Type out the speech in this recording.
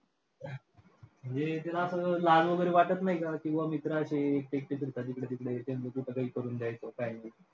म्हणजे त्याला असं लहान वगैरे वाटत नाही का की बाबा मित्रं अशी एकटे एकटे फिरतात हिकडं-तिकडं,